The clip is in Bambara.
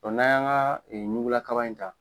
n'an y'an ka ɲugula kaba in ta